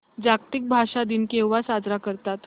जागतिक भाषा दिन केव्हा साजरा करतात